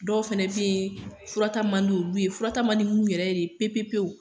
Dɔw fɛnɛ be yen, fura ta man di olu ye .Fura ta man di munnu yɛrɛ ye pe pe pewu.